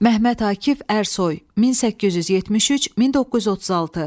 Məhəmməd Akif Ərsoy, 1873-1936.